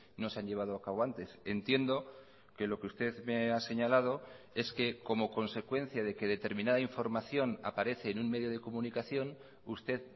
no se han llevado a cabo antes entiendo que lo que usted me ha señalado es que como consecuencia de que determinada información aparece en un medio de comunicación usted